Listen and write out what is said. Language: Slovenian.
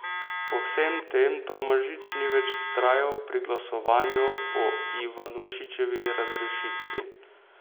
Po vsem tem Tomažič ni več vztrajal pri glasovanju o Ivanušičevi razrešitvi.